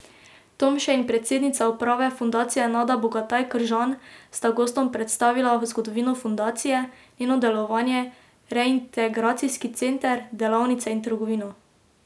Tomše in predsednica uprave fundacije Nada Bogataj Kržan sta gostom predstavila zgodovino fundacije, njeno delovanje, reintegracijski center, delavnice in trgovino.